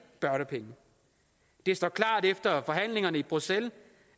børnepenge det står klart efter forhandlingerne i bruxelles